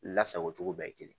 Lasago cogo bɛɛ ye kelen